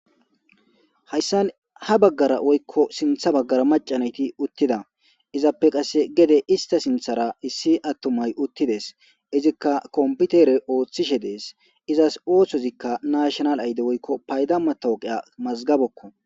hayssan ha baggara woykko sintha baggara macanayti uttida izappe qasse gede ista sinthara issi attumay uttides izikka komputere ooththishe dees izas oothozikka nashinal ayde woykko paydamma tooqeya mazgabekko